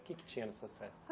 O que é que tinha nessas festas?